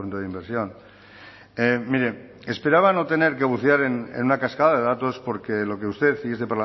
de inversión mire esperaba no tener que bucear en una cascada de datos porque lo que usted y este